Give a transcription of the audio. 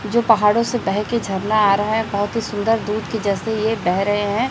जो पहाड़ों से बेहकें झरना आ रहा है बहोत ही सुंदर दूध की जैसे ये बेह रहे हैं।